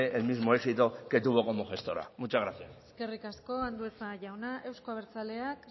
el mismo éxito que tuvo como gestora muchas gracias eskerrik asko andueza jauna euzko abertzaleak